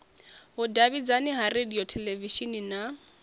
vhudavhidzani ha radio theḽevishini na